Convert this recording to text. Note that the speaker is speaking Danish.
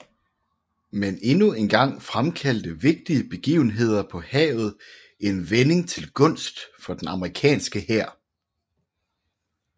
Men endnu en gang fremkaldte vigtige begivenheder på havet en vending til gunst for den amerikanske hær